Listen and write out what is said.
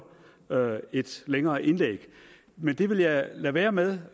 et længere indlæg men det vil jeg lade være med